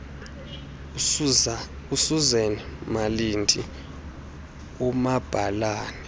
usuzan malindi umabhalane